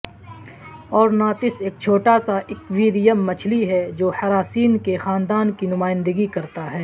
اورناتس ایک چھوٹا سا ایکویریم مچھلی ہے جو ہراسین کے خاندان کی نمائندگی کرتا ہے